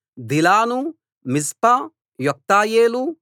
దిలాను మిజ్పా యొక్తయేలు